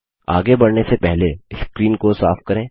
आगे बढ़ने से पहले स्क्रीन को साफ करें